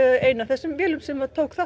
ein af þessum vélum sem tók þátt